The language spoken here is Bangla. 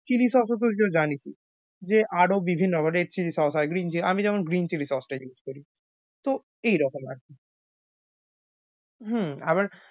Chilli sauce জানিসই যে আরও বিভিন্ন আবার red chilli sauce হয় green chilli, আমি যেমন green chilli sauce টাই use করি। তো এইরকম আর কি। হম আবার